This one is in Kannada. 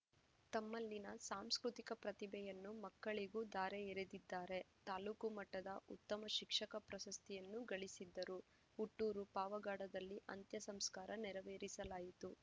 ತಮ್ಮಲ್ಲಿನ ಸಾಂಸ್ಕತಿಕ ಪ್ರತಿಭೆಯನ್ನು ಮಕ್ಕಳಿಗೂ ಧಾರೆ ಎರೆದಿದ್ದಾರೆ ತಾಲೂಕು ಮಟ್ಟದ ಉತ್ತಮ ಶಿಕ್ಷಕ ಪ್ರಶಸ್ತಿಯನ್ನು ಗಳಿಸಿದ್ದರು ಹುಟ್ಟೂರು ಪಾವಗಡದಲ್ಲಿ ಅಂತ್ಯ ಸಂಸ್ಕಾರ ನೆರವೇರಿಸಲಾಯಿತು